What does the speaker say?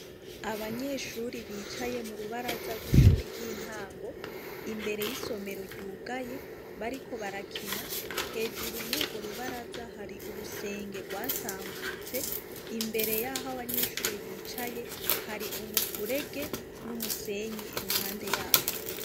Abanyeshure bicaye mu rubaza rw'ishuri ry'intango, imbere y'isomero ryugaye, bariko barakina. Hejuru muri urwo rubaraza, hari urusenge rwasabutse . Imbere y'aho abanyeshure bicaye, hari umufurege n'umusenyi iruhande y'aho.